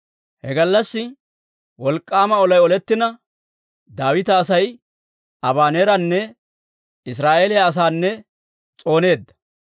He gallassi wolk'k'aama olay olettina, Daawita Asay Abaneeranne Israa'eeliyaa asaanne s'ooneedda.